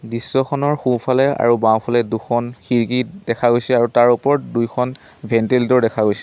দৃশ্যখনৰ সোঁ ফালে আৰু বাওঁ ফালে দুখন খিৰিকী দেখা গৈছে আৰু তাৰ ওপৰত দুইখন ভেন্টিলেটৰ দেখা গৈছে।